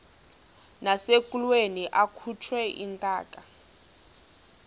nasekulweni akhutshwe intaka